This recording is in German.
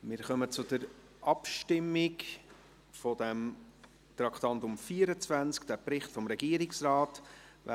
Wir kommen zur Abstimmung betreffend den Bericht des Regierungsrates.